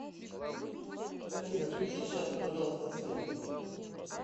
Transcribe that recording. афина включи сейчас пожалуйста свет